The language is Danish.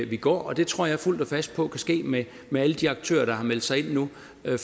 vi går det tror jeg fuldt og fast på kan ske med med alle de aktører der har meldt sig ind nu